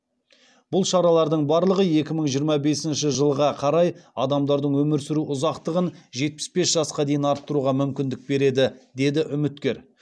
бұл шаралардың барлығы екі мың жиырма бесінші жылға қарай адамдардың өмір сүру ұзақтығын жетпіс бес жасқа дейін арттыруға мүмкіндік береді деді үміткер